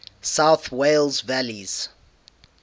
south wales valleys